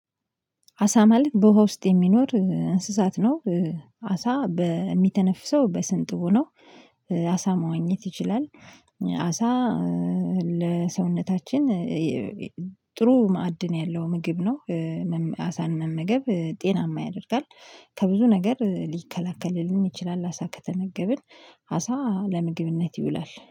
አሳ ማለት በውሃ ውስጥ የሚኖር እንስሳት ነው። አሳ በሚተነፍሰው በስንጥቡ ነው። አሳ መዋኘት ይችላል። አሳ ለሰውነታችን ጥሩ ማዕድን ያለው ምግብ ነው። መመ አሳን መመገብ ጤናማ ያደርጋል። ከብዙ ነገር ሊከላከልልን ይችላል አሳ ከተመገብን። አሳ ለምግብነት ይውላል።